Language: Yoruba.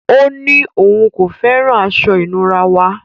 Ọ̀ ní ọún kò fẹ́ran àṣọ-ìnúrà wa.